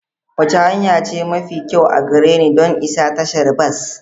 Wace hanya ce mafi kyau a gare ni don isa tashar bas?